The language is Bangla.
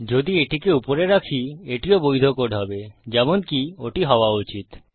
যদি এটিকে উপরে রাখি এটিও বৈধ কোড হবে যেমনকি ওটি হওযা উচিত